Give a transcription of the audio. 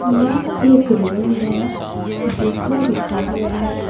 यह एक रूम है जिसमें दुकान है।